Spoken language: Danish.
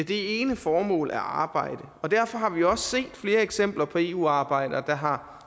det ene formål at arbejde derfor har vi også set flere eksempler på eu arbejdere der har